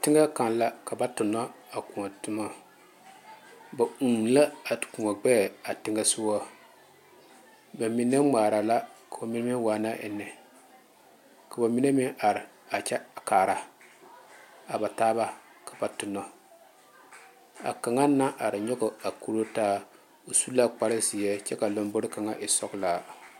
Teŋa kaŋ la ka ba tuna a kõɔ tuma ba uu la a kõɔ gbeɛ a teŋa soga ba mine ŋmaare la ka ba mine waana eŋe ka ba mine meŋ are a kyɛ kaara a ba taaba ka ba tuna a kaŋa naŋ are nyoŋ a kuri taa o su la kpare ziɛ kyɛ ka a lanbore kaŋa e sɔglaa.